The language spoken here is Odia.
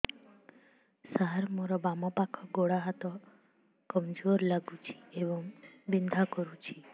ସାର ମୋର ବାମ ପାଖ ଗୋଡ ହାତ କମଜୁର ଲାଗୁଛି ଏବଂ ବିନ୍ଧା କରୁଛି